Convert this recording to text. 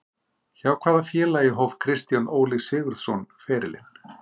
Hjá hvaða félagi hóf Kristján Óli Sigurðsson ferilinn?